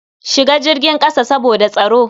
Shiga jirgin ƙasa saboda tsaro.